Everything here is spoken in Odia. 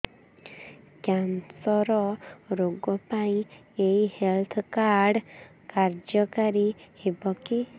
କ୍ୟାନ୍ସର ରୋଗ ପାଇଁ ଏଇ ହେଲ୍ଥ କାର୍ଡ କାର୍ଯ୍ୟକାରି ହେବ କି